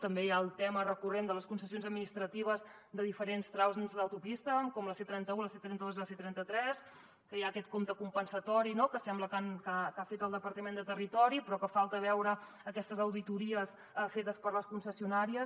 també hi ha el tema recurrent de les concessions administratives de diferents trams d’autopista com la c trenta un la c trenta dos i la c trenta tres que hi ha aquest compte compensatori no que sembla que ha fet el departament de territori però que falta veure aquestes auditories fetes per les concessionàries